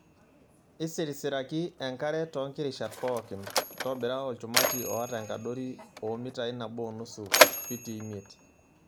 Isirisiraki enkare too nkirishat pookin .Ntobira olchumati oata enkadori oo mitai nabo onusu (fitii imiet).